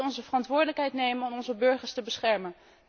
We moeten onze verantwoordelijkheid nemen om onze burgers te beschermen.